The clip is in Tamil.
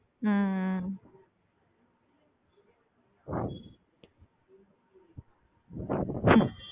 ஹம் ஹம்